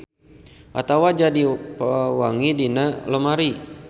Atawa jadi pewangi dina lomari.